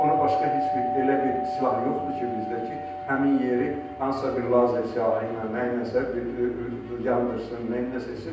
Ona başqa heç bir elə bir silah yoxdur ki, bizdə ki, həmin yeri hansısa bir lazer silahı ilə, nəyləsə yandırsın, nəyləsə etsin.